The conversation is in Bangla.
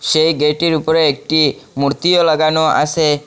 সেই গেইট -এর উপরে একটি মূর্তিও লাগানো আছে।